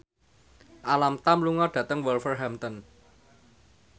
Alam Tam lunga dhateng Wolverhampton